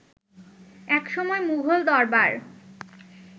একসময় মুঘল দরবার